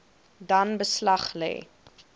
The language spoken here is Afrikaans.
dan beslag lê